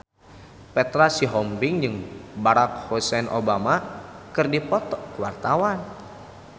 Petra Sihombing jeung Barack Hussein Obama keur dipoto ku wartawan